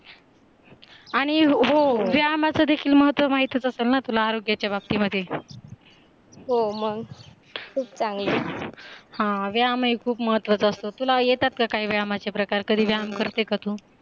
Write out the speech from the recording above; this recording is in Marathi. आणि हो व्यायामाचे देखील महत्व माहित असेल ना तुला आरोग्याचा बाबती मध्ये, हो माहीत आहे, हा व्यायाम हे खूप महत्त्वाचे असतात तुला येतात का काही व्यामाचे प्रकार? कधी व्यायाम करते का तू?